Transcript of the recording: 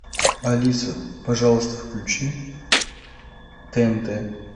алиса пожалуйста включи тнт